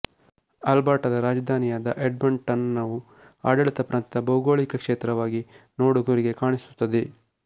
ಅಲ್ಬರ್ಟಾದ ರಾಜಧಾನಿಯಾದ ಎಡ್ಮಂಟನ್ ವು ಆಡಳಿತ ಪ್ರಾಂತ್ಯದ ಭೌಗೋಳಿಕ ಕ್ಷೇತ್ರವಾಗಿ ನೋಡಗರಿಗೆ ಕಾಣಿಸುತ್ತದೆ